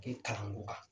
Kɛ kalanko kan